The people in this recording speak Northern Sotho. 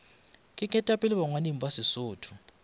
ke ketapele bangwading ba sesotho